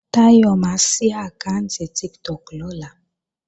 Táyọ̀ máa sí àkáànti Tiktok lọ́la